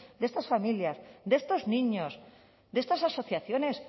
de estas familias de estos niños de estas asociaciones